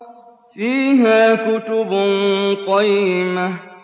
فِيهَا كُتُبٌ قَيِّمَةٌ